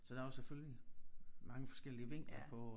Så der var selvfølgelig mange forskellige vinkler på